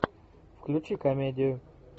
включи комедию